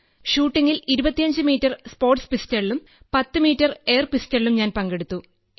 ഷൂട്ടിംഗിൽ 25 metre sports പിസ്റ്റളിലും 10 metre എയർപിസ്റ്റളിലും ഞാൻ പങ്കെടുത്തു